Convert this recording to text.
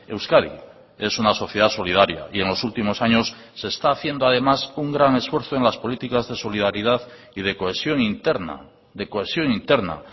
euskadi es una sociedad solidaria y en los últimos años se está haciendo además un gran esfuerzo en las políticas de solidaridad y de cohesión interna de cohesión interna